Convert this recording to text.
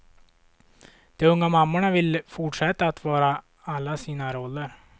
De unga mammorna vill fortsätta att vara alla sina roller.